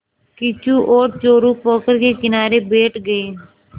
किच्चू और चोरु पोखर के किनारे बैठ गए